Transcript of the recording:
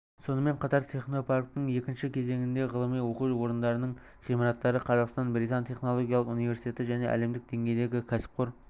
сонымен қатар технопарктің екінші кезеңінде ғылыми оқу орындарының ғимараттары қазақстан-британ техникалық университеті және әлемдік деңгейдегі кәсіпқор